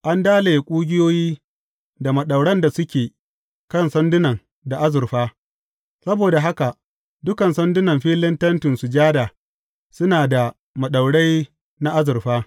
An dalaye ƙugiyoyi da maɗauran da suke kan sandunan da azurfa; saboda haka dukan sandunan filin Tentin Sujada suna da maɗaurai na azurfa.